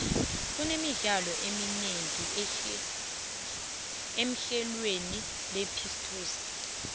kune midlalo eminengi emhlelweni lepitoxi